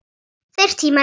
Þeir tímar eru liðnir.